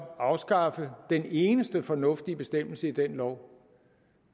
afskaffe den eneste fornuftige bestemmelse i den lov